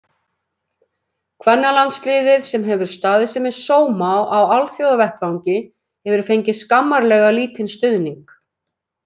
Kvennalandsliðið, sem hefur staðið sig með sóma á alþjóðavettvangi, hefur fengið skammarlega lítinn stuðning.